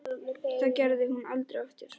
Það gerði hún aldrei aftur.